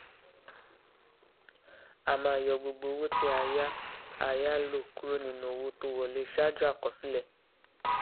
a máa yọ gbogbo owó tí a yá a yá lò kúrò nínú owó tó wọlé ṣáájú àkọsílẹ